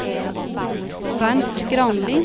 Bernt Granli